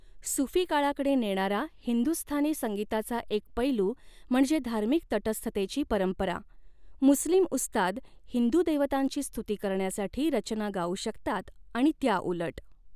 सुफी काळाकडे नेणारा हिंदुस्थानी संगीताचा एक पैलू म्हणजे धार्मिक तटस्थतेची परंपरा, मुस्लिम उस्ताद हिंदू देवतांची स्तुती करण्यासाठी रचना गाऊ शकतात आणि त्याउलट.